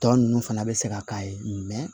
Tɔ ninnu fana bɛ se ka k'a ye